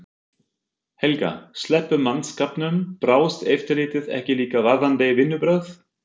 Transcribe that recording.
Helga: Sleppum mannskapnum. brást eftirlitið ekki líka varðandi vinnubrögð?